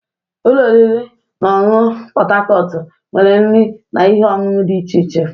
Ụlọ oriri na ọṅụṅụ Pot Tarcot nwere nri na ihe ọṅụṅụ dị iche iche.